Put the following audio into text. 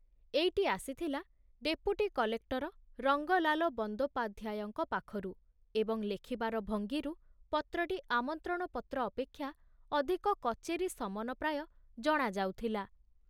ଏଇଟି ଆସିଥିଲା deputy collector Rangalal ବନ୍ଦୋପାଧ୍ୟାୟଙ୍କ ପାଖରୁ ଏବଂ ଲେଖିବାର ଭଙ୍ଗୀରୁ ପତ୍ରଟି ଆମନ୍ତ୍ରଣପତ୍ର ଅପେକ୍ଷା ଅଧିକ କଚେରୀ ସମନ ପ୍ରାୟ ଜଣା ଯାଉଥିଲା।